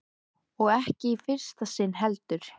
Hvers vegna hafði hann borið hlífiskjöld fyrir Valdimar?